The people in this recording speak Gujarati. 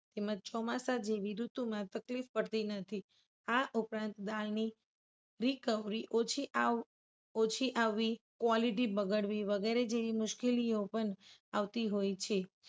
તેમજ ચોમાસા જેવી ઋતુમાં તકલીફ પડતી નથી. આ ઉપરાંત દાળની recovery ઓછી આવ ઓછી આવવી quality બગડવી વગેરે જેવી મુશ્કેલીઓ પણ આવતી હોય છે.